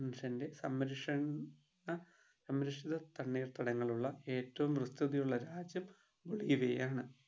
സംരക്ഷണ സംരക്ഷണ തണ്ണീർടങ്ങൾ ഉള്ള ഏറ്റവും വൃത്തതയുള്ള രാജ്യം ബൊളീവിയ ആണ്